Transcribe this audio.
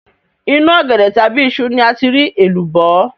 Inú ọ̀gẹ̀dẹ̀ tàbí iṣu ni a ti rí èlùbọ́